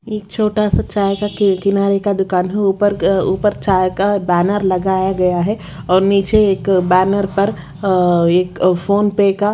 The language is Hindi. एक छोटा सा चाय का किनारे का दुकान है ऊपर ऊपर चाय का बैनर लगाया गया है और नीचे एक बैनर पर अ एक फोन पे का --